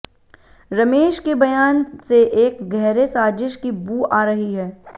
रमेष के बयान से एक गहरे साजिष की बू आ रही है